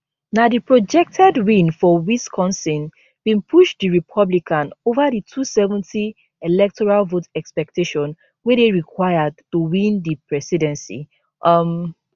na di projected win for wisconsin bin push di republican ova di 270 electoral vote expectation wey dey required to win di presidency um